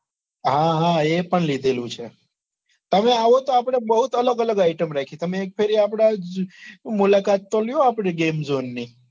હા હા એ પણ લીધેલું છે. તમે આવો તો આપડે બહુત અલગ અલગ item રાખી તમે એક ફેરે આપડે આ મુલાકાત તો લ્યો આપડી game zone ની.